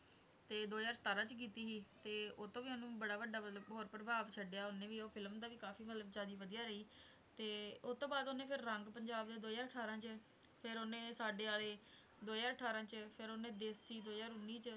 ਤੇ ਦੋ ਹਜ਼ਾਰ ਸਤਾਰਾਂ 'ਚ ਕੀਤੀ ਸੀ ਤੇ ਉਹ ਤੋਂ ਵੀ ਉਹਨੂੰ ਬੜਾ ਵੱਡਾ ਮਤਲਬ ਬਹੁਤ ਪ੍ਰਭਾਵ ਛੱਡਿਆ ਉਹਨੇ ਵੀ ਉਹ film ਦਾ ਕਾਫ਼ੀ ਮਤਲਬ ਜਾਣੀ ਵਧੀਆ ਰਹੀ ਤੇ ਉਹ ਤੋਂ ਬਾਅਦ ਉਹਨੇ ਫਿਰ ਰੰਗ ਪੰਜਾਬ ਜੋ ਹਜ਼ਾਰ ਅਠਾਰਾਂ 'ਚ ਫਿਰ ਉਹਨੇ ਸਾਡੇ ਆਲੇ, ਦੋ ਹਜ਼ਾਰ ਅਠਾਰਾਂ 'ਚ, ਫਿਰ ਉਹਨੇ ਦੇਸੀ ਦੋ ਹਜ਼ਾਰ ਉੱਨੀ 'ਚ,